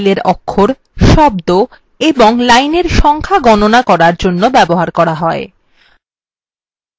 এই command একটি file অক্ষর শব্দ এবং lines সংখ্যা গণনা করার জন্য ব্যবহার করা হয়